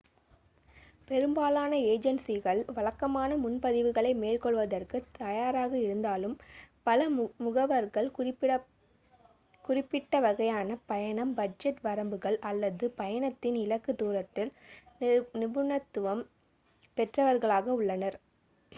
பெரும்பாலான ஏஜென்சிகள் வழக்கமான முன்பதிவுகளை மேற்கொள்வதற்கு தயாராக இருந்தாலும் பல முகவர்கள் குறிப்பிட்ட வகையான பயணம் பட்ஜெட் வரம்புகள் அல்லது பயணத்தின் இலக்கு தூரத்தில் நிபுணத்துவம் பெற்றவர்களாக உள்ளனர்